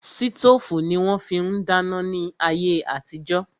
Sítòfù ni wón fi ń dáná ní ayé àtijó